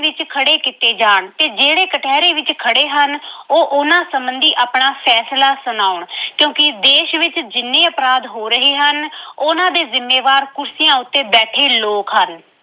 ਵਿੱਚ ਖੜੇ ਕੀਤੇ ਜਾਣ ਤੇ ਜਿਹੜੇ ਕਟਹਿਰੇ ਵਿੱਚ ਖੜੇ ਹਨ ਉਹ ਉਹਨਾਂ ਸੰਬੰਧੀ ਆਪਣਾ ਫੈਸਲਾ ਸੁਣਾਉਣ ਕਿਉਂਕਿ ਦੇਸ਼ ਵਿੱਚ ਜਿੰਨ੍ਹੇ ਅਪਰਾਧ ਹੋ ਰਹੇ ਹਨ ਉਹਨਾਂ ਦੇ ਜ਼ਿੰਮੇਵਾਰ ਕੁਰਸੀਆਂ ਉੱਤੇ ਬੈਠੇ ਲੋਕ ਹਨ।